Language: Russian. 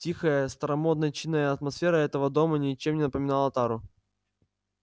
тихая старомодно-чинная атмосфера этого дома ничем не напоминала тару